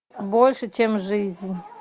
больше чем жизнь